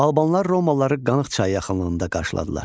Albanlar romalıları Qanıq çayı yaxınlığında qarşıladılar.